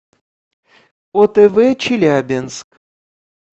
отв челябинск